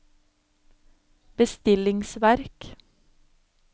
bestillingsverk